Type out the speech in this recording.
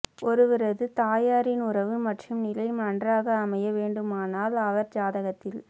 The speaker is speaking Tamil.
ஒருவரது தாயாரின் உறவு மற்றும் நிலை நன்றாக அமைய வேண்டுமானால் அவர் ஜாதகத்தில்